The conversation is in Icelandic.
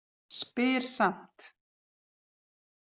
Spyr samt.